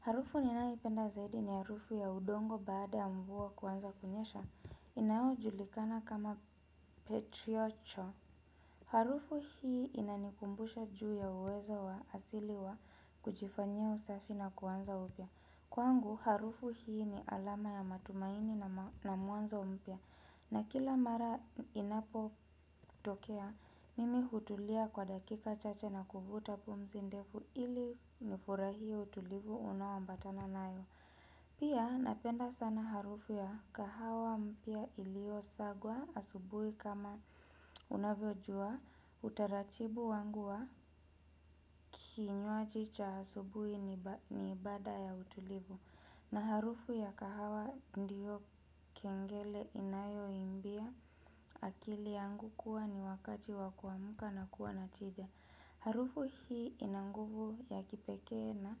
Harufu ninaipenda zaidi ni harufu ya udongo baada ya mvua kuanza kunyesha. Inayojulikana kama petriocho. Harufu hii inanikumbusha juu ya uwezo wa asili wa kujifanyia usafi na kuanza upya. Kwangu, harufu hii ni alama ya matumaini na mwanzo mpya. Na kila mara inapotokea, mimi hutulia kwa dakika chache na kuvuta pumzi ndefu ili nifurahie utulivu unaoambatana nayo. Pia napenda sana harufu ya kahawa mpya iliyosagwa asubuhi kama unavyojua utaratibu wangu wa kinywaji cha asubuhi ni ibada ya utulivu. Na harufu ya kahawa ndiyo kengele inayo imbia akili yangu kuwa ni wakati wakuamka na kuwa na tija. Harufu hii inanguvu ya kipekee na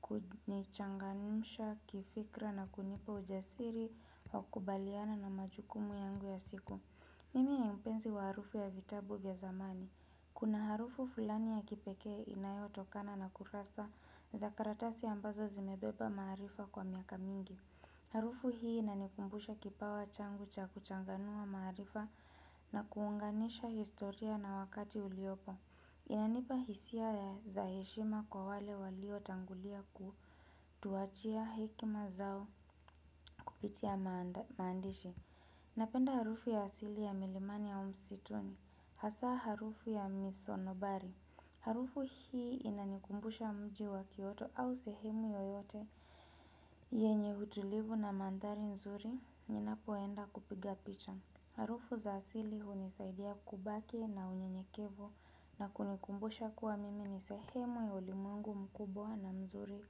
kunichanganusha kifikra na kunipa ujasiri wa kukubaliana na majukumu yangu ya siku. Mimi ni mpenzi wa harufu ya vitabu vya zamani. Kuna harufu fulani ya kipekee inayotokana na kurasa za karatasi ambazo zimebeba maarifa kwa miaka mingi. Harufu hii inanikumbusha kipawa changu cha kuchanganua maarifa na kuunganisha historia na wakati uliopo. Inanipa hisia za heshima kwa wale waliotangulia kutuachia hekima zao kupitia maandishi. Napenda harufu ya asili ya milimani au msituni hasaa harufu ya misonobari. Harufu hii inanikumbusha mji wa kioto au sehemu yoyote yenye utulivu na mandhari nzuri ninapoenda kupiga picha. Harufu za asili hunisaidia kubaki na unyenyekevu na kunikumbusha kuwa mimi ni sehemu ya ulimwengu mkubwa na mzuri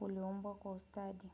ulioumbwa kwa ustadi.